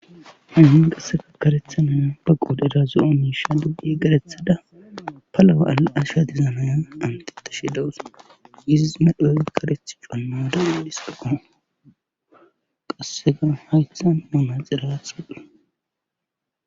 hannin qasseka karethanana baqodedazu7onisha duggi garethada palawa7ala7asha dizamayan antete shidawusa giziz medhooy kareth conna danu dhiska komo qassega haythan mamaxirath widdhe